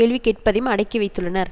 கேள்வி கேட்பதையும் அடக்கிவைத்துள்ளனர்